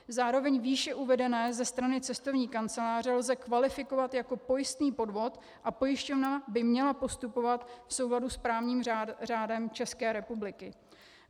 Zároveň výše uvedené ze strany cestovní kanceláře lze kvalifikovat jako pojistný podvod a pojišťovna by měla postupovat v souladu s právním řádem České republiky.